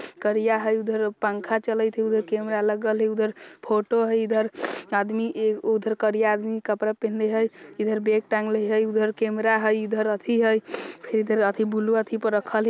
करिया हई उधर पंखा चलिथेय हई उधर कैमरा लगल हई उधर फोटो हई इधर आदमी उधर आदमी करिया कपड़ा पहिनले हई इधर बैग टांगले हई उधर कैमरा हई । इधर अथी बूलू अथी पर रखल हई |